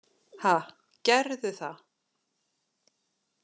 Ha, gerðu það.